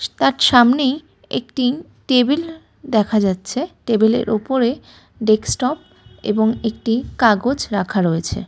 তার সামনেই একটি টেবিল দেখা যাচ্ছে। টেবিল -এর উপরে ডেক্স টপ এবং একটি কাগজ রাখা রয়েছে।